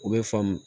U bɛ faamu